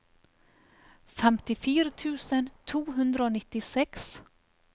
femtifire tusen to hundre og nittiseks